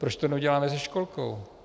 Proč to neuděláme se školkou?